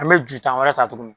An be ju tan wɛrɛ ta tuguni.